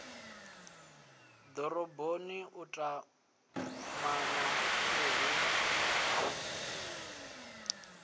doroboni u tumana uhu hu